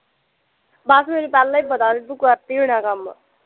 ਬਸ ਮੈਨੂੰ ਪਹਿਲਾਂ ਈ ਪਤਾ ਸੀ, ਤੂੰ ਕਰਤੀ ਹੋਣਾ ਐ ਕੰਮ